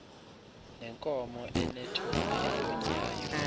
nenkomo enethole elonyayo